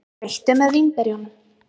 Skreyttu með vínberjunum.